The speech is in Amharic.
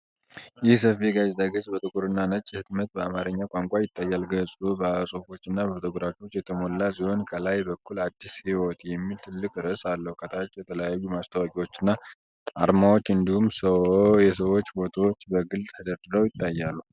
ይህ ሰፊ የጋዜጣ ገጽ በጥቁርና ነጭ ህትመት በአማርኛ ቋንቋ ይታያል። ገጹ በጽሑፎችና በፎቶግራፎች የተሞላ ሲሆን፣ ከላይ በኩል “አዲስ ሕይወት” የሚል ትልቅ ርዕስ አለው። ከታች የተለያዩ ማስታወቂያዎችና አርማዎች እንዲሁም የሰዎች ፎቶዎች በግልጽ ተደርድረው ይታያሉ።